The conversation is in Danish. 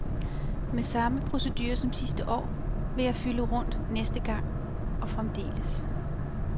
Med samme procedure som sidste år vil jeg fylde rundt næste gang og fremdeles.